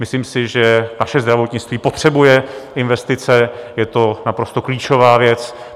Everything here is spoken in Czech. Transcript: Myslím si, že naše zdravotnictví potřebuje investice, je to naprosto klíčová věc.